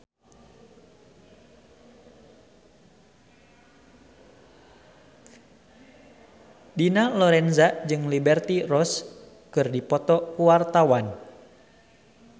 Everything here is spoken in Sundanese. Dina Lorenza jeung Liberty Ross keur dipoto ku wartawan